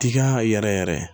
Tika yɛrɛ yɛrɛ